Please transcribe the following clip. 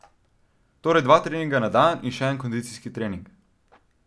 Torej dva treninga na dan in še en kondicijski trening.